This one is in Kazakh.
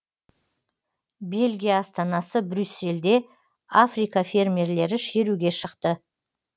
бельгия астанасы брюссельде африка фермерлері шеруге шықты